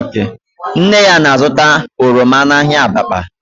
Nne ya na-azụta oroma n'ahịa Abakpa